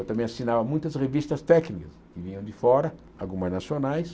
Eu também assinava muitas revistas técnicas que vinham de fora, algumas nacionais.